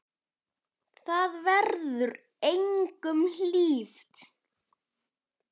Það verður engum hlíft!